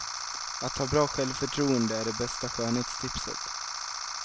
Att ha bra självförtroende är det bästa skönhetstipset.